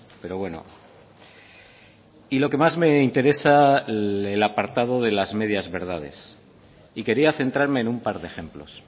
pero bueno y lo que más me interesa el apartado de las medias verdades y quería centrarme en un par de ejemplos